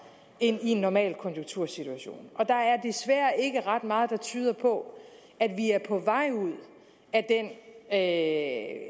end i en normalkonjunktursituation og der er desværre ikke ret meget der tyder på at vi er på vej ud af